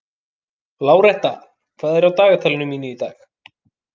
Láretta, hvað er á dagatalinu mínu í dag?